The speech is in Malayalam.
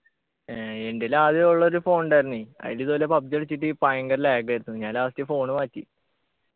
ഏർ എൻ്റെൽ ആദ്യ ഉള്ളൊരു phone ഉണ്ടായിരുന്നെ അയിലിതുപോലെ PUBG കളിച്ചിട്ട് ഭയങ്കര lag ആയിരുന്നു ഞാൻ last phone മാറ്റി